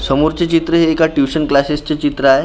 समोरचे चित्र हे एका ट्युशन क्लासेसचे चित्र आहे .